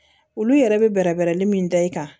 Olu yɛrɛ bɛ bɛrɛ bɛrɛ min da i kan